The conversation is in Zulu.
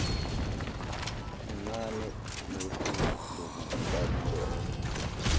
inqandane nohlu lokubaluleka